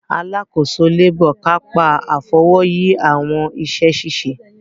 Alàkóso labour kapa Afọwọyi awọn iṣẹ-ṣiṣe.